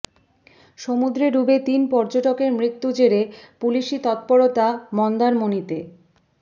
সমুদ্রে ডুবে তিন পর্যটকের মৃত্যুর জেরে পুলিসি তত্পরতা মন্দারমনিতে